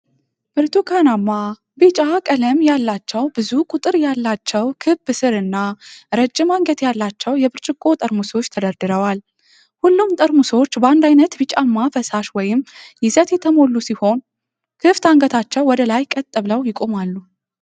ብርቱካናማ ቢጫ ቀለም ያላቸው ብዙ ቁጥር ያላቸው ክብ ስር እና ረጅም አንገት ያላቸው የብርጭቆ ጠርሙሶች ተደርድረዋል። ሁሉም ጠርሙሶች በአንድ ዓይነት ቢጫማ ፈሳሽ ወይም ይዘት የተሞሉ ሲሆኑ፣ ክፍት አንገቶቻቸው ወደ ላይ ቀጥ ብለው ይቆማሉ።